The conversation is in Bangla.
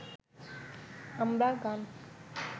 আমরা গান